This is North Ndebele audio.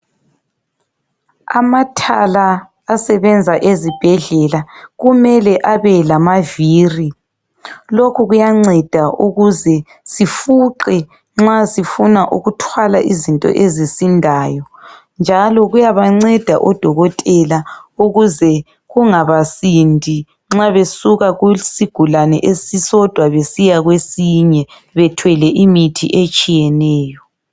Amathala asebenza ezibhedlela kumele abe lamaviri. Lokhu kuyanceda ukuze sifuqe nxa sifuna ukuthwala izinto ezisindayo njalo kuyabanceda odokotela ukuze kungabasindi nxa besuka kusigulane esisodwa besiya kwesinye bethwele imithi etshiyeneyo.